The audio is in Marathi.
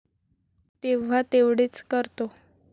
तेव्हा तेवढेच करतो.